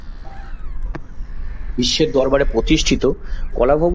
বিশ্বের দরবারে প্রতিষ্ঠিত বলা হোক